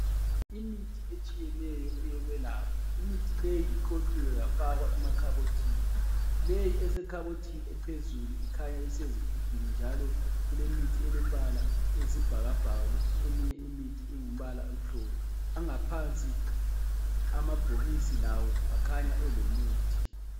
Imithi etshiyeneyo eyokwelapha. Imithi leyi iqoqiwe yafakwa emakhabothini. Leyi esekhabothini ephezulu ikhanya isezigubhini, njalo kulemithi elembala eyisibhakabhaka kuthi eminye imithi ingumbala omhlophe. Angaphansi, amabhokisi lawo akhanya elomuthi.